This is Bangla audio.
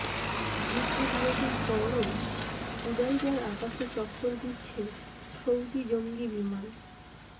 যুদ্ধবিরতির পরও হুদাইদার আকাশে চক্কর দিচ্ছে সৌদি জঙ্গি বিমান